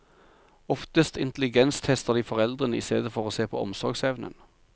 Oftest intelligenstester de foreldrene i stedet for å se på omsorgsevnen.